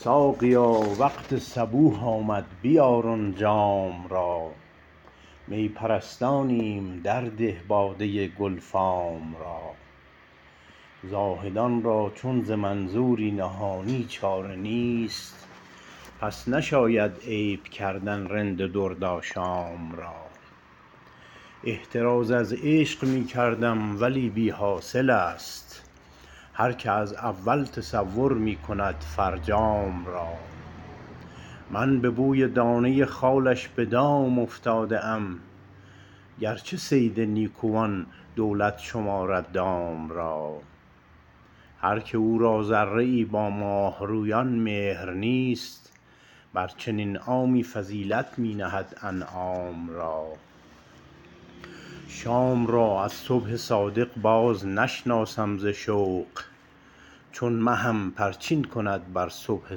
ساقیا وقت صبوح آمد بیار آن جام را می پرستانیم درده باده گل فام را زاهدان را چون ز منظوری نهانی چاره نیست پس نشاید عیب کردن رند دردآشام را احتراز از عشق می کردم ولی بی حاصل است هرکه از اول تصور می کند فرجام را من به بوی دانه خالش به دام افتاده ام گرچه صید نیکوان دولت شمارد دام را هرکه او را ذره ای با ماه رویان مهر نیست بر چنین عامی فضیلت می نهند انعام را شام را از صبح صادق باز نشناسم ز شوق چون مهم پرچین کند بر صبح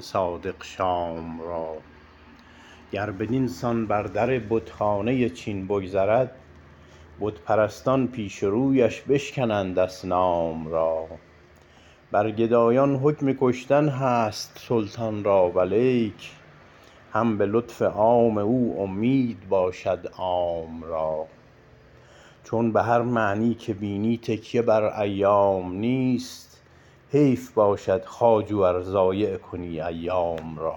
صادق شام را گر بدین سان بر در بتخانه چین بگذرد بت پرستان پیش رویش بشکنند اصنام را بر گدایان حکم کشتن هست سلطان را ولیک هم به لطف عام او اومید باشد عام را چون بهر معنی که بینی تکیه بر ایام نیست حیف باشد خواجو ار ضایع کنی ایام را